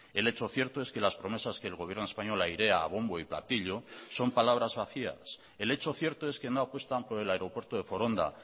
el hecho cierto es que las promesas que el gobierno español airea a bombo y platillo son palabras vacías el hecho cierto es que no apuestan por el aeropuerto de foronda